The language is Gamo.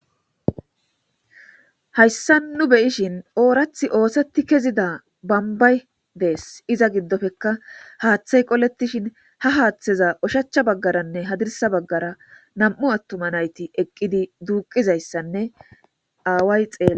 hayssan nu beyishin oorathi oosetti kezida bambay dees iza giddofekka haaththay qoletishin ha haaththeza oshacha baggaranne hadirsa baggara nam7u attuma nayti eqqidi duuqizayssanne aaway xeela